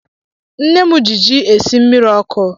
Nne mụ gị jị esị jị mmiri ọkụ